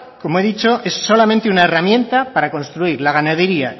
como he dicho es solamente una herramienta para construir la ganadería